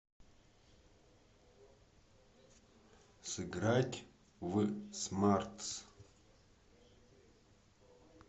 сыграть в смартс